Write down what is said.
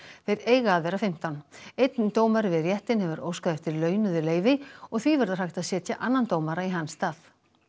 þeir eiga að vera fimmtán einn dómari við réttinn hefur óskað eftir launuðu leyfi og því verður hægt að setja annan dómara í hans stað